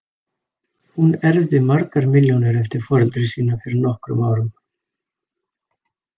Hún erfði margar milljónir eftir foreldra sína fyrir nokkrum árum.